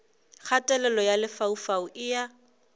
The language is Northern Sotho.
kgatelelo ya lefaufau e a